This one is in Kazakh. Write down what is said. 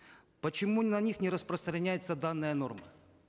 почему на них не распространятеся данная норма